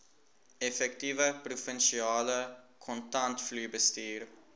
effektiewe provinsiale kontantvloeibestuur